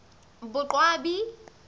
boqwabi